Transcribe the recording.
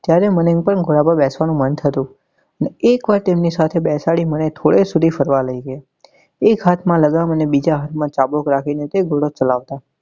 ત્યારે મને પણ ઘોડા પર બેસવા નું મન થતું ને એક વાર મને તેમની સાથે બેસાડી ને થોડે સુધી ફરવા લઇ ગયા એક હાથ માં લગામ અને એક હાથ માં ચાબુક રાખી ને તે ઘોડો ચલાવતા.